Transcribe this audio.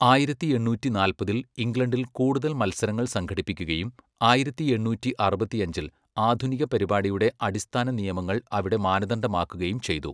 ആയിരത്തി എണ്ണൂറ്റി നാൽപ്പതിൽ ഇംഗ്ലണ്ടിൽ കൂടുതൽ മത്സരങ്ങൾ സംഘടിപ്പിക്കുകയും ആയിരത്തി എണ്ണൂറ്റി അറുപത്തിയഞ്ചിൽ ആധുനിക പരിപാടിയുടെ അടിസ്ഥാന നിയമങ്ങൾ അവിടെ മാനദണ്ഡമാക്കുകയും ചെയ്തു.